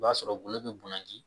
I b'a sɔrɔ golo be bonya ni